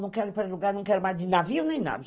Não quero ir para lugar, não quero mais de navio nem nada.